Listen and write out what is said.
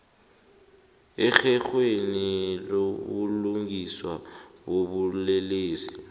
erherhweni lobulungiswa bobulelesi